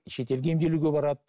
шетелге емделуге барады